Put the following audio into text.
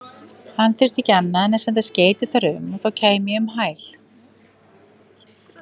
Hann þyrfti ekki annað en senda skeyti þar um, þá kæmi ég um hæl.